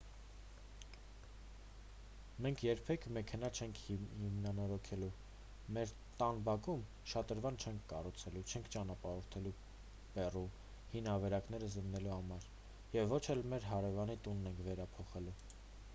մենք երբեք մեքենա չենք հիմնանորոգելու մեր տան բակում շատրվան չենք կառուցելու չենք ճանապարհորդելու պերու հին ավերակները զննելու համար և ոչ էլ մեր հարևանի տունն ենք վերափոխելու